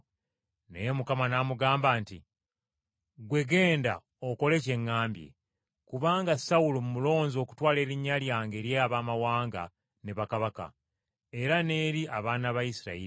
Naye Mukama n’amugamba nti, “Ggwe genda okole kye ŋŋambye. Kubanga Sawulo mmulonze okutwala erinnya lyange eri Abaamawanga ne bakabaka, era n’eri abaana ba Isirayiri.”